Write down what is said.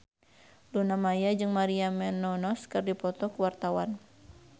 Luna Maya jeung Maria Menounos keur dipoto ku wartawan